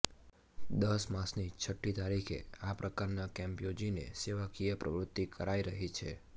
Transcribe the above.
દર માસની છઠ્ઠી તારીખે આ પ્રકારના કેમ્પ યોજીને સેવાકીય પ્રવૃતિ કરાઇ રહી છે